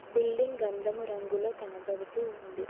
Building గంధము రంగులో కనబడుతూ ఉంది.